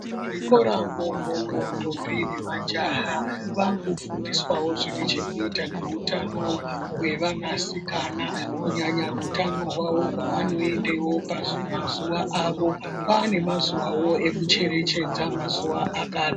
Muzvikoramo imomo ndombi nemajaha vakufundiswawo zvine chekuita nehutano hwevanasikana kunyanya utano hwawo hwavanoendewo pamazuwa awo. Kwane mazuwawo ekucherechedza mazuwo akadai.